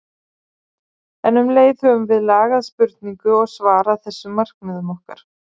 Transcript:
En um leið höfum við lagað spurningu og svar að þessum markmiðum okkar.